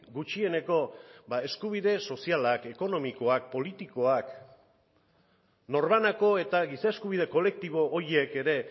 gutxieneko eskubide sozialak ekonomikoak politikoak norbanako eta giza eskubide kolektibo horiek ere